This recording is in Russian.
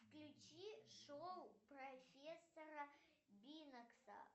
включи шоу профессора бинекса